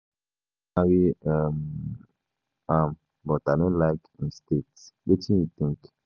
I wan marry um am but I no like im state. Wetin you think?